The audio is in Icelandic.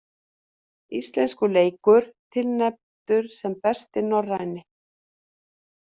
Íslenskur leikur tilnefndur sem besti norræni